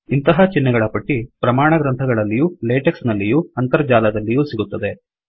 ಇಂತಹ ಚಿಹ್ನೆಗಳ ಪಟ್ಟಿ ಪ್ರಮಾಣ ಗ್ರಂಥಗಳಲ್ಲಿಯೂ ಲೆಟೆಕ್ಸ್ ನಲ್ಲಿಯೂ ಅಂತರ್ಜಾಲದಲ್ಲಿಯೂ ಸಿಗುತ್ತದೆ